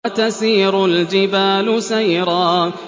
وَتَسِيرُ الْجِبَالُ سَيْرًا